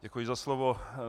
Děkuji za slovo.